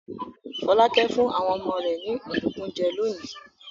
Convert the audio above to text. Fọlákẹ́ fún àwọn ọmọ rẹ̀ ní ọ̀dùnkún jẹ lónìí.